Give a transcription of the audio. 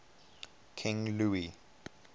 king louis